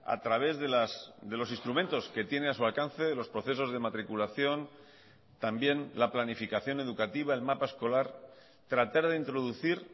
a través de los instrumentos que tiene a su alcance de los procesos de matriculación también la planificación educativa el mapa escolar tratar de introducir